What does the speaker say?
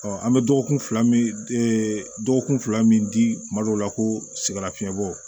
an bɛ dɔgɔkun fila min dɔgɔkun fila min di kuma dɔw la koo sigalafiɲɛ bɔ